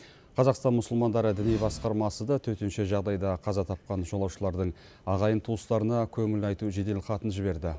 қазақстан мұсылмандары діни басқармасы да төтенше жағдайда қаза тапқан жолаушылардың ағайын туыстарына көңіл айту жеделхатын жіберді